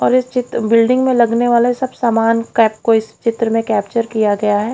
और ये चित्र बिल्डिंग में लगने वाले सब सामान का कोइ इस चित्र में कैप्चर किया गया है।